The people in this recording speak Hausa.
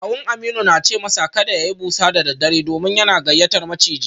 Kawun Aminu na ce masa kada ya yi busa da daddare domin yana gayyatar maciji